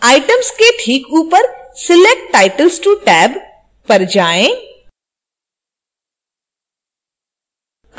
items के ठीक ऊपर select titles to tag पर जाएँ